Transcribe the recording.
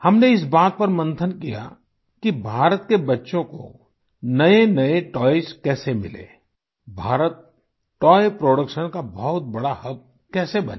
हमने इस बात पर मंथन किया कि भारत के बच्चों को नएनए टॉयज़ कैसे मिलें भारत तोय प्रोडक्शन का बहुत बड़ा हब कैसे बने